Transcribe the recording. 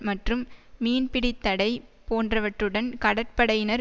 மற்றும் மீன்பிடித்தடை போன்றவற்றுடன் கடற்படையினர்